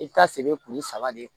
I bɛ taa se kuru saba de